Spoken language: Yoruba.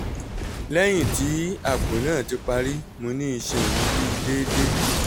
lẹhin ti apo naa ti pari mo ni iṣan mi bi deede